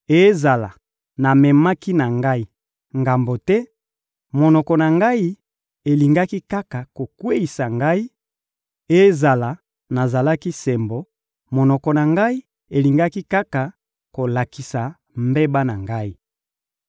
Ezala namemaki na ngai ngambo te, monoko na ngai elingaki kaka kokweyisa ngai; ezala nazalaki sembo, monoko na ngai elingaki kaka kolakisa mbeba na ngai.